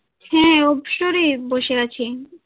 হাঁ অবসরে বসে আছি